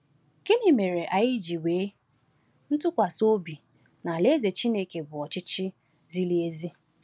Gịnị mere anyị ji nwee ntụkwasị obi na Alaeze Chineke bụ ọchịchị ziri ezi?